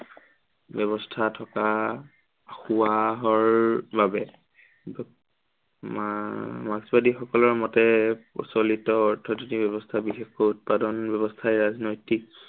ব্য়ৱস্থা থকা বাবে। মা~মাৰ্ক্সবাদী সকলৰ মতে প্ৰচলিত অৰ্থনৈতিক ব্য়ৱস্থা, বিশেষকৈ উৎপাদন ব্য়ৱস্থাই ৰাজনৈতিক